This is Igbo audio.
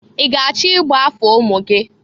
I ga-achọ igba afa ụmụ gị?